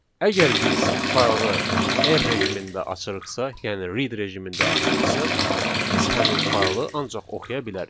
Əgər biz faylı R rejimində açırıqsa, yəni read rejimində açırıqsa, biz həmin faylı ancaq oxuya bilərik.